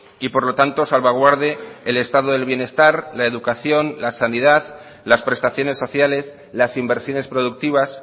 y por lo tanto salvaguarde el estado del bienestar la educación la sanidad las prestaciones sociales las inversiones productivas